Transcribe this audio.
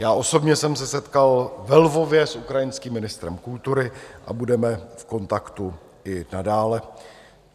Já osobně jsem se setkal ve Lvově s ukrajinským ministrem kultury a budeme v kontaktu i nadále.